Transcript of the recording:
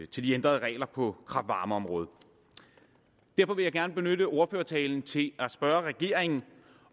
til de ændrede regler på kraft varme området derfor vil jeg gerne benytte ordførertalen til at spørge regeringen